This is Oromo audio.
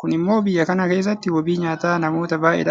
Kun immoo biyya kana keessatti wabii nyaataa namoota baay'eedhaaf ta'uu danda'eera.